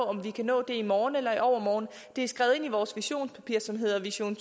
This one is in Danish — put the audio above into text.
om vi kan nå det i morgen eller i overmorgen men det er skrevet ind i vores visionspapir som hedder vision